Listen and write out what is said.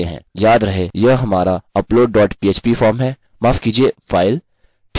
याद रहे यह हमारा upload dot php फॉर्म है माफ़ कीजिये फाइल